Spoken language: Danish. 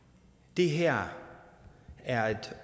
det her er et